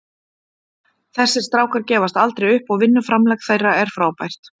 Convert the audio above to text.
Þessir strákar gefast aldrei upp og vinnuframlag þeirra er frábært.